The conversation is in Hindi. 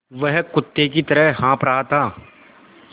वह कुत्ते की तरह हाँफ़ रहा था